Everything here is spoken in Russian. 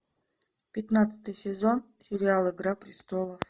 пятнадцатый сезон сериал игра престолов